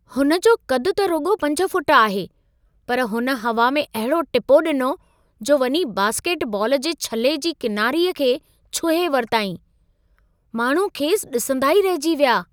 हुनजो क़दु त रुॻो 5 फुट आहे, पर हुन हवा में अहिड़ो टिपो ॾिनो, जो वञी बास्केटबॉल जे छले जी किनारीअ खे छुहे वरितईं। माण्हू खेसि ॾिसंदा ई रहिजी विया।